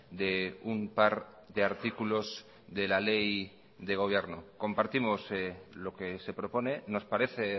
de un par de artículos de la ley de gobierno compartimos lo que se propone nos parece